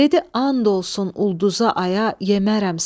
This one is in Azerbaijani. Dedi and olsun ulduza aya yemərəm səni.